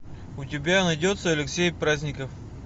у тебя найдется алексей праздников